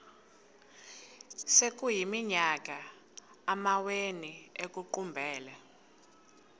sekuyiminyaka amawenu ekuqumbele